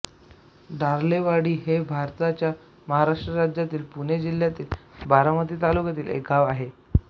डोर्लेवाडी हे भारताच्या महाराष्ट्र राज्यातील पुणे जिल्ह्यातील बारामती तालुक्यातील एक गाव आहे